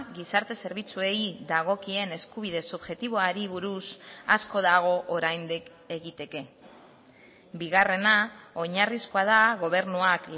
gizarte zerbitzuei dagokien eskubide subjektiboari buruz asko dago oraindik egiteke bigarrena oinarrizkoa da gobernuak